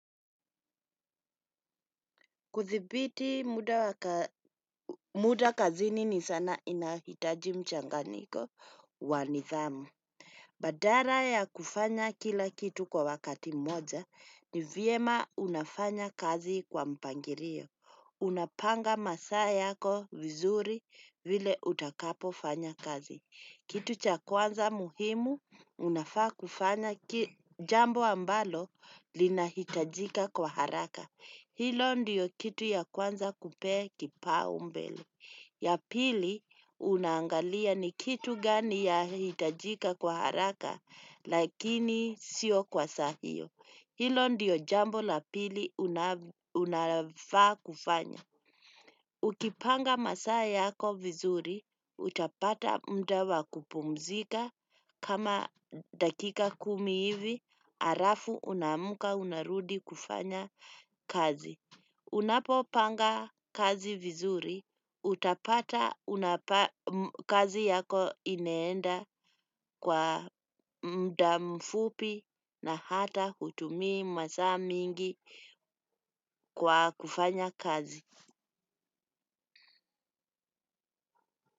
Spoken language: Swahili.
Kuthibiti muda kazini ni sana inahitaji mchanganyiko wanithamu. Badara ya kufanya kila kitu kwa wakati mmoja ni viema unafanya kazi kwa mpangirio. Unapanga masaa yako vizuri vile utakapo fanya kazi. Kitu cha kwanza muhimu unafaa kufanya jambo ambalo linahitajika kwa haraka. Hilo ndiyo kitu ya kwanza kupe kipa umbele. Ya pili unangalia ni kitu gani ya hitajika kwa haraka lakini sio kwa sahio. Hilo ndiyo jambo la pili unafaa kufanya. Ukipanga masaa yako vizuri, utapata mdawa kupumzika. Kama dakika kumi hivi, arafu unamuka unarudi kufanya kazi. Unapo panga kazi vizuri, utapata kazi yako ineenda kwa mdamfupi na hata hutumii masa mingi kwa kufanya kazi.